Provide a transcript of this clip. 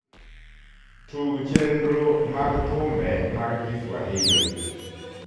tug chernro mag thumbe mag kiswahili